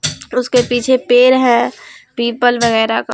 उसके पीछे पेड़ है पीपल वगेरा का --